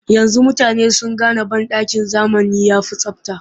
Yanzu mutane sun gane banɗakin zamani ya fi tsabta